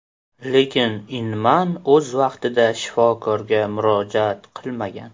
Lekin Inman o‘z vaqtida shifokorga murojaat qilmagan.